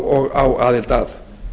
og á aðild að